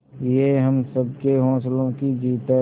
ये हम सबके हौसलों की जीत है